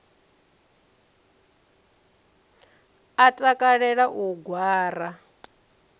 a takalela u u gwara